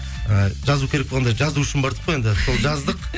і жазу керек болғанда жазу үшін бардық қой енді сол жаздық